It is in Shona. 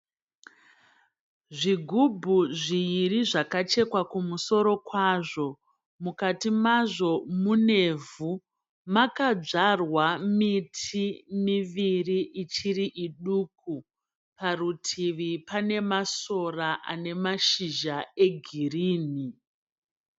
Zvigubhu zviiri zvakachekwa kumusoro kwazvo. Mukati mazvo munevhu. Makadzvarwa miti miviri ichiri iduku. Parutivi pane masora ane mashizha egirinhi.